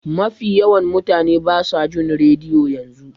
Magi yawan mutane basa jin rediyo yanzu.